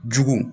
Jugu